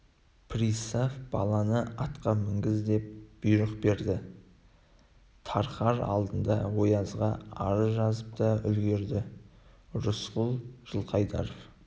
пристав баланы атқа мінгіз деп бұйрық берді тарқар алдында оязға арыз жазып та үлгірді рысқұл жылқайдаров